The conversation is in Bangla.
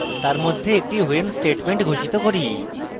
তার মধ্যে একটি when statement ঘোষিত করি